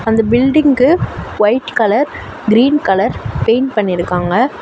அந்த பில்டிங்க்கு white colour green colour paint பண்ணிருக்காங்க.